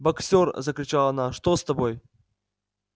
боксёр закричала она что с тобой